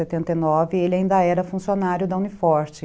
em setenta e nove ele ainda era funcionário da Uni Forte.